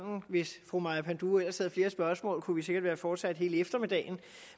og hvis fru maja panduro ellers havde haft flere spørgsmål kunne vi sikkert være fortsat hele eftermiddagen